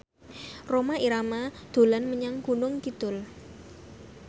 Rhoma Irama dolan menyang Gunung Kidul